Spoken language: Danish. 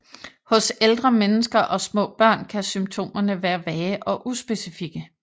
Hos ældre mennesker og små børn kan symptomerne være vage og uspecifikke